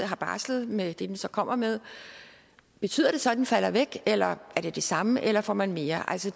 har barslet med det den så kommer med betyder det så den falder væk eller er det det samme eller får man mere altså